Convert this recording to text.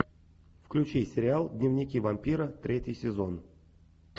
включи сериал дневники вампира третий сезон